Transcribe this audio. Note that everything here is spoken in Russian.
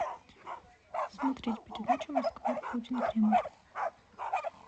смотреть передачу москва путин кремль